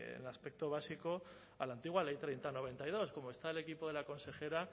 en el aspecto básico a la antigua ley treinta barra noventa y dos como está el equipo de la consejera